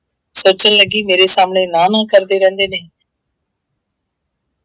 ਸੋਚਣ ਲੱਗੀ ਮੇਰੇ ਸਾਹਮਣੇ ਨਾਂਹ ਨੂੰਹ ਕਰਦੇ ਰਹਿੰਦੇ ਨੇ।